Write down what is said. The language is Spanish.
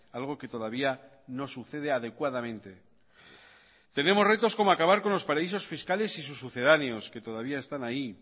algo que todavía no sucede adecuadamente tenemos retos como acabar con los paraísos fiscales y sus sucedáneos